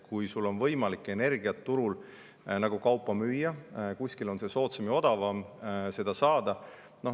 Kui sul on võimalik energiat turul nagu kaupa müüa, siis kuskil on soodsam ja odavam seda saada.